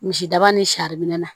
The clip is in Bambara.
Misidaba ni sari minɛ na